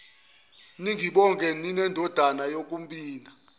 ningibonge ninendodana yakhoningibona